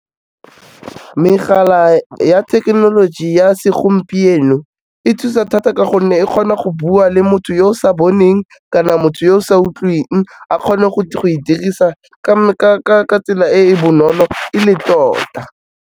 Megala ya thekenoloji ya segompieno e thusa thata ka gonne e kgona go bua le motho yo o sa boneng kana motho yo o sa utlweng, a kgone go e dirisa ka tsela e e bonolo e le tota.